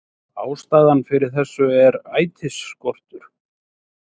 Ástæðan fyrir þessu er ætisskortur